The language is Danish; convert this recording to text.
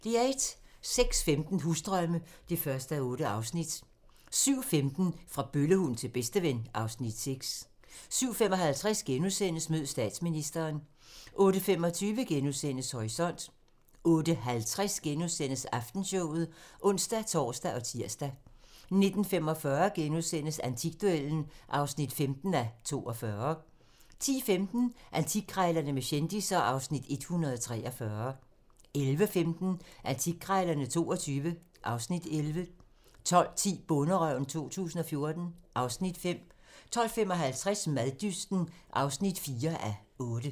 06:15: Husdrømme (1:8) 07:15: Fra bøllehund til bedsteven (Afs. 6) 07:55: Mød statsministeren * 08:25: Horisont * 08:50: Aftenshowet *(ons-tor og tir) 09:45: Antikduellen (15:42)* 10:15: Antikkrejlerne med kendisser (Afs. 143) 11:15: Antikkrejlerne XXII (Afs. 11) 12:10: Bonderøven 2014 (Afs. 5) 12:55: Maddysten (4:8)